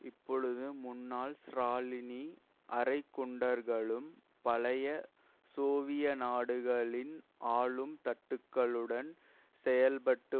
இப்பொழுது முன்னாள் ஸ்ராலினி அரை குண்டர்களும் பழைய சோவிய நாடுகளின் ஆளும் தட்டுக்களுடன் செயல்பட்டு